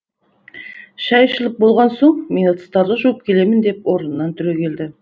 шай ішіліп болған соң мен ыдыстарды жуып келемін деп орнынан түрегелді